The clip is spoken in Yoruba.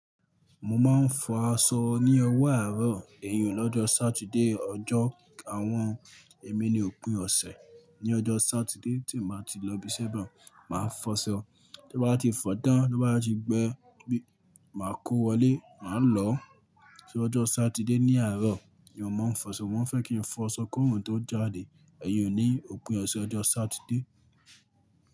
Mo máa ń fọ aṣọ ní ọwọ́ àárọ̀ ẹ̀yun lọ́jọ́ Saturday. Ọjọ́ àwọn èmi ni òpin ọ̀sẹ̀. Ni ọjọ́ Saturday tí mi oo bá ti lọ ibiṣẹ́ baun, màá fọṣọ. Tí mo bá ti fọ̀ tán, tí oo bá ti gbẹ, màá kó wọlé, màá lọ. Ṣé ọjọ́ Saturday ní àárọ̀ ni ọmọ ń fọṣọ, mo maa n fẹ́ kí n fọ aṣọ ki orun tó jáde. Ẹ̀yìn ni òpin ọ̀sẹ̀ ọjọ́ Saturday.